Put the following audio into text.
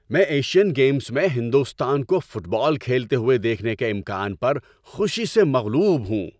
میں Asian games میں ہندوستان کو فٹ بال کھیلتے ہوئے دیکھنے کے امکان پر خوشی سے مغلوب ہوں۔